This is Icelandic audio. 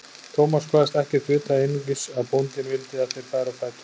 Thomas kvaðst ekkert vita, einungis að bóndinn vildi að þeir færu á fætur.